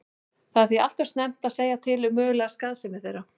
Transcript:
Það er því allt of snemmt að segja til um mögulega skaðsemi þeirra.